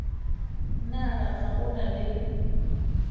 na ga go na le